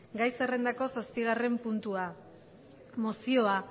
gai zerrendako zazpigarren puntua mozioa